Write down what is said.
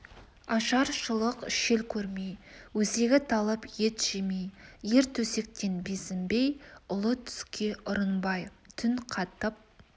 ашаршылық шел көрмей өзегі талып ет жемей ер төсектен безінбей ұлы түске ұрынбай түн қатып